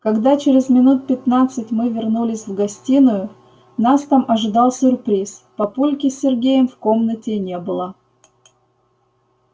когда через минут пятнадцать мы вернулись в гостиную нас там ожидал сюрприз папульки с сергеем в комнате не было